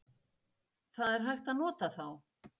það er hægt að nota þá.